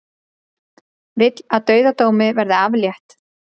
Vill að dauðadómi verði aflétt